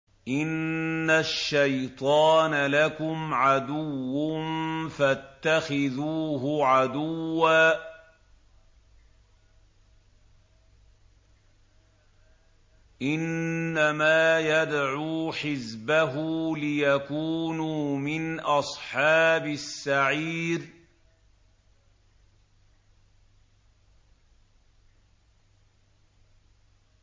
إِنَّ الشَّيْطَانَ لَكُمْ عَدُوٌّ فَاتَّخِذُوهُ عَدُوًّا ۚ إِنَّمَا يَدْعُو حِزْبَهُ لِيَكُونُوا مِنْ أَصْحَابِ السَّعِيرِ